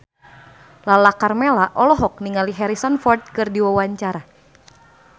Lala Karmela olohok ningali Harrison Ford keur diwawancara